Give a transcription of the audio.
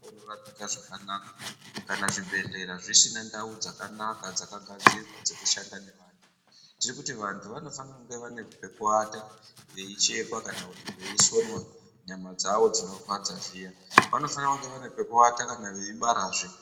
Kana zvibhehlera dzisina ndau dzakanaka dzekushandiswa nevantu, tirikuti vantu vanofana kunge vane pekuata veichekwa kana veisonwa nyama dzavo dzinorwadza zviya. Vanofana kunge vane pekuata kana veibarazve.